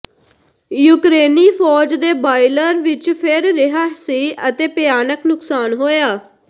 ਯੂਕਰੇਨੀ ਫ਼ੌਜ ਦੇ ਬਾਇਲਰ ਵਿੱਚ ਫਿਰ ਰਿਹਾ ਸੀ ਅਤੇ ਭਿਆਨਕ ਨੁਕਸਾਨ ਹੋਇਆ